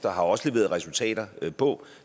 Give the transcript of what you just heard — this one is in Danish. og har også leveret resultater på